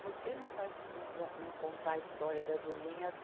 Por que não fa, não, não contar a história da Julinha?